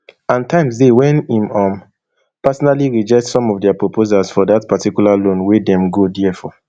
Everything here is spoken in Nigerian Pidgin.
and times dey wen im um personally reject some of dia proposals for dat particular loan wey dem go dia for